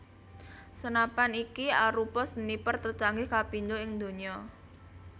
Senapan iki arupa sniper tercanggih kapindo ing dunya